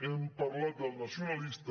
hem parlat del nacionalista